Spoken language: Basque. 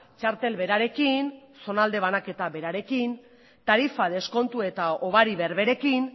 txartel berarekin zonalde banaketa berarekin tarifa deskontu eta hobari berberekin